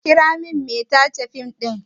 Ku kira min mai tace fim ɗin!